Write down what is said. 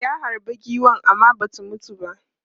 Ya harbe giwan amma ba ta mutu ba.